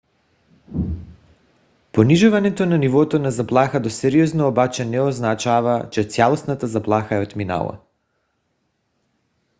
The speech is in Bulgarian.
понижаването на нивото на заплаха до сериозно обаче не означава че цялостната заплаха е отминала.